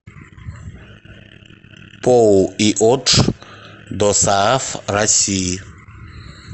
поу иотш досааф россии